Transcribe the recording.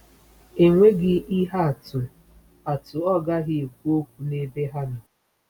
“Enweghị ihe atụ atụ ọ gaghị ekwu okwu n’ebe ha nọ.”